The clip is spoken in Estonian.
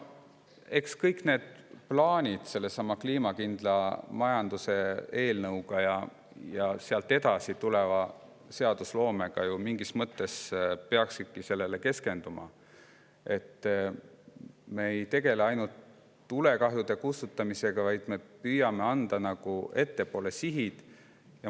Eks kõik need kliimakindla majanduse eelnõuga seotud plaanid koos seadusloomega peaksidki ju mingis mõttes keskenduma sellele, et me ei tegeleks ainult tulekahjude kustutamisega, vaid me püüaksime ka sihte.